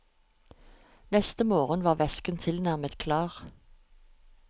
Neste morgen var væsken tilnærmet klar.